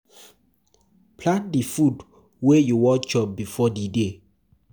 Plan di food wey you wan chop before di day